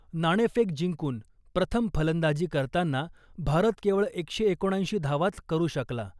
नाणेफेक जिंकून प्रथम फलंदाजी करताना भारत केवळ एकशे एकोणऐंशी धावाच करू शकला .